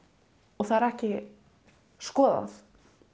og það er ekki skoðað